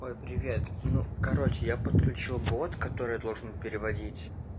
ой привет ну короче я подключил бот который должен переводить